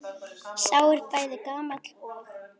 Sá er bæði gamall og.